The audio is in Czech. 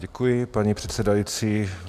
Děkuji, paní předsedající.